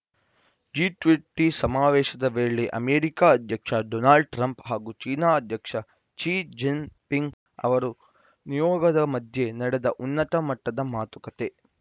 G twenty ಸಮಾವೇಶದ ವೇಳೆ America ಅಧ್ಯಕ್ಷ ಡೊನಾಲ್ಡ್‌ ಟ್ರಂಪ್‌ ಹಾಗೂ ಚೀನಾ ಅಧ್ಯಕ್ಷ ಕ್ಸಿ ಜಿನ್‌ಪಿಂಗ್‌ ಅವರ ನಿಯೋಗದ ಮಧ್ಯೆ ನಡೆದ ಉನ್ನತ ಮಟ್ಟದ ಮಾತುಕತೆ